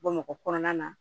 Bamakɔ kɔnɔna na